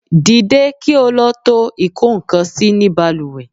Dìde kí ó lọ tó ikokansi ni baluwe